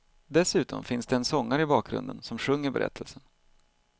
Dessutom finns det en sångare i bakgrunden som sjunger berättelsen.